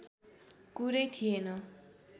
कुरै थिएन